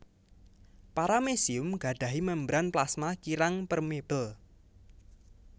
Paramecium gadahi membran plasma kirang permeabel